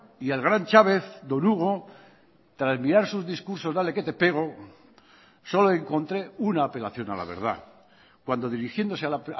y el gran chavez don hugo tras mirar sus discursos dale que te pego solo encontré una apelación a la verdad cuando dirigiéndose a la